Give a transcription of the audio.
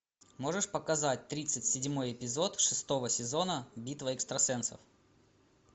можешь показать тридцать седьмой эпизод шестого сезона битва экстрасенсов